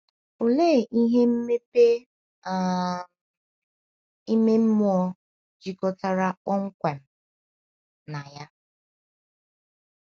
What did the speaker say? Olee ihe mmepe um ime mmụọ jikọtara kpọmkwem na ya?